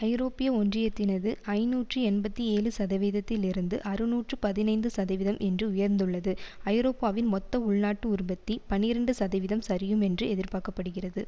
ஐரோப்பிய ஒன்றியத்தினது ஐநூற்று எண்பத்தி ஏழு சதவீதத்தில் இருந்து அறுநூற்று பதினைந்து சதவீதம் என்று உயர்ந்துள்ளது ஐரோப்பாவின் மொத்த உள்நாட்டு உற்பத்தி பனிரண்டு சதவிதம் சரியும் என்று எதிர்பார்க்க படுகிறது